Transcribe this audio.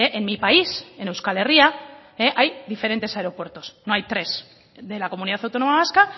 en mi país en euskal herria hay diferentes aeropuertos no hay tres de la comunidad autónoma vasca